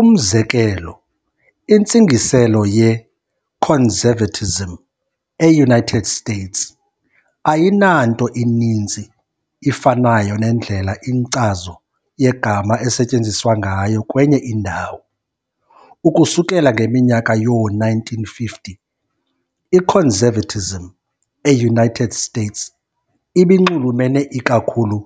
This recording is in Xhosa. Umzekelo, Intsingiselo "ye-conservatism " e-United States ayinanto ininzi ifanayo nendlela inkcazo yegama esetyenziswa ngayo kwenye indawo. Ukusukela ngeminyaka yoo-1950 i-Conservatism e-United States ibinxulumene ikakhulu